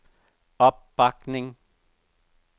opbakning